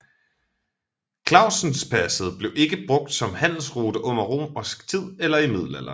Klausenpasset blev ikke brugt som handelsrute under romersk tid eller i middelalderen